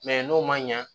n'o man ɲa